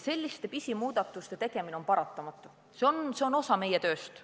Selliste pisimuudatuste tegemine on paratamatu, see on osa meie tööst.